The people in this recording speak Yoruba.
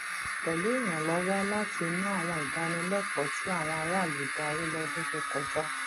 pẹlú ìrànlọwọ láti inú àwọn ìdánilẹkọọ tí àwọn aráàlú darí lọdún tó kọjá